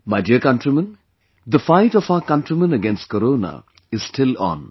My dear countrymen, the fight of our countrymen against Corona is still on